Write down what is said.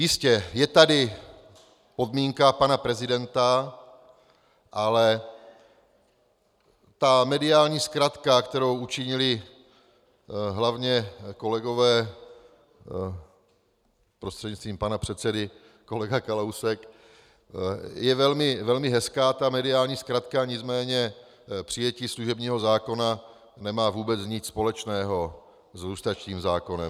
Jistě, je tady podmínka pana prezidenta, ale ta mediální zkratka, kterou učinili hlavně kolegové, prostřednictvím pana předsedy kolega Kalousek, je velmi hezká ta mediální zkratka, nicméně přijetí služebního zákona nemá vůbec nic společného s lustračním zákonem.